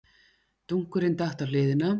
Dunkurinn datt á hliðina.